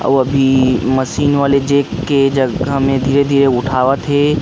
अउ अभी मशीन अपनी जेक के जगह में अभी धीरे धीरे उठावत थे।